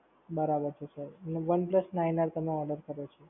બરાબર છે Sir અને OnePlus Nine R તમે order કર્યો છે.